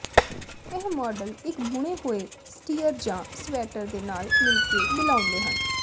ਇਹ ਮਾਡਲ ਇੱਕ ਬੁਣੇ ਹੋਏ ਸਟੀਅਰ ਜਾਂ ਸਵੈਟਰ ਦੇ ਨਾਲ ਮਿਲਕੇ ਮਿਲਾਉਂਦੇ ਹਨ